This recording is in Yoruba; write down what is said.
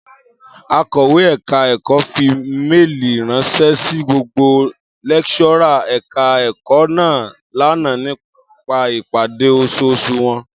Akọ̀wé ẹ̀ka ẹ̀kọ́ fi méèlì ránṣẹ́ sí gbogbo lẹ́kíṣọ́rà ẹ̀ka ẹ̀kọ́ náà lánàá nípa ìpàdé oṣooṣù wọn